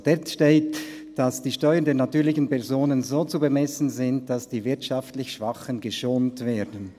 Dort steht, dass die Steuern der natürlichen Personen so zu bemessen sind, «dass die wirtschaftlich Schwachen geschont werden.